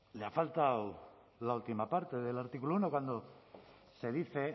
le ha faltado la última parte del artículo uno cuando se dice